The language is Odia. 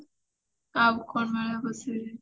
ଆଉ କଣ ମେଳା ବସେ